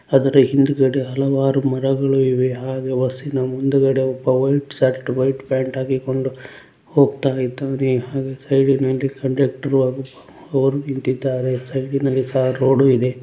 ಅದರ ಹಿಂದುಗಡೆ ಹಲವಾರು ಮರಗಳು ಇವೆ ಹಾಗೆ ವರ್ಸಿನ ಮುಂದುಗಡೆ ಒಬ್ಬ ವೈಟ್ ಶರ್ಟ್ ವೈಟ್ ಪ್ಯಾಂಟ್ ಹಾಕಿಕೊಂಡು ಹೋಗ್ತಾಇದ್ದಾನೆ ಹಾಗೆ ಸೈಡಿನಲ್ಲಿ ಕಂಡಕ್ಟರ್ ಹಾಗು ಓರ್ ನಿಂತಿದ್ದಾರೆ ಸೈಡಿನಲ್ಲಿ ಸಹ ರೋಡು ಇದೆ.